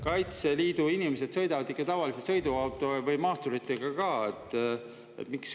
Kaitseliidu inimesed sõidavad tavaliselt ikka sõiduautoga või maasturitega ka.